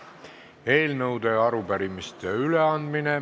Eelnõude ja arupärimiste üleandmine.